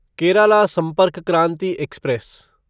Kerala Sampark Kranti express